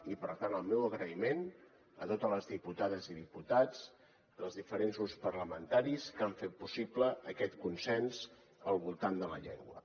i per tant el meu agraïment a totes les diputades i diputats dels diferents grups parlamentaris que han fet possible aquest consens al voltant de la llengua